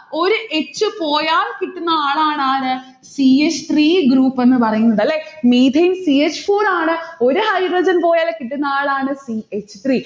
ഒരു h പോയാൽ കിട്ടുന്ന ആളാണ് ആര് c h three group എന്നുപറയുന്നത്. അല്ലെ methane c h four ആണ് ഒരു hydrogen പോയാൽ കിട്ടുന്നയാളാണ് c h three